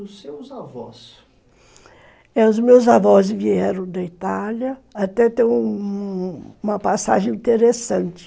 Os meus avós... Os meus avós vieram da Itália, até tem uma passagem interessante.